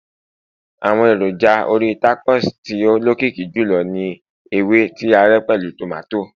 àwọn èròjà orí tacos tí o lokiki jùlọ ni ewe ti a ré pẹlu tomato